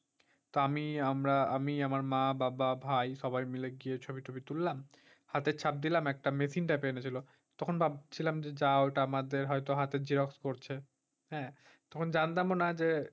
তা আমি আমরা আমি আমার মা-বাবা ভাই সবাই মিলে যেয়ে ছবি-টবি তুললাম। হাতের ছাপ দিলাম একটা machine টাতে এনে দিল। তখন ভাবছিলাম যে যা ওটা হয়তো আমাদের হাতের xerox করছে। হ্যাঁ তখন যানতাম ও না যে,